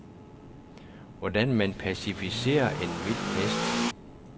Hvordan man pacificerer en vild hest?